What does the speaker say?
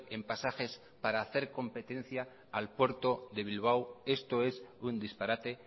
en pasajes para hacer competencia al puerto de bilbao esto es un disparate